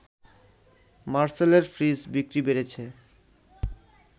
মারসেলের fridge বিক্রি বেড়েছে